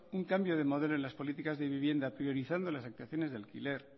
un cambio de modelo en las políticas de vivienda priorizando las actuaciones de alquiler